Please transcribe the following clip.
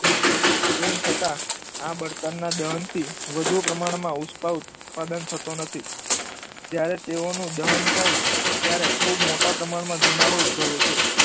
તેમ છતાં આ બળતણના દહનથી વધુ પ્રમાણમાં ઉષ્મા ઉત્પાદન થતું નથી. જ્યારે તેઓનું દહન થાય ત્યારે ખૂબ મોટા પ્રમાણમાં ધુમાડો ઉદ્ભભવે છે.